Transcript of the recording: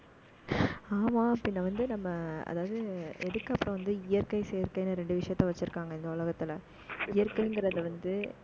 ஆமா, பின்ன வந்து நம்ம அதாவது, எதுக்கு அப்புறம் வந்து, இயற்கை சேர்க்கைன்னு ரெண்டு விஷயத்த வச்சிருக்காங்க, இந்த உலகத்துல இயற்கைங்கிறது வந்து